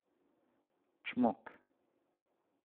Čmok.